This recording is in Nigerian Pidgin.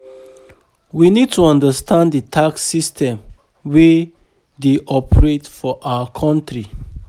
We need to understand di tax system wey dey operate for our country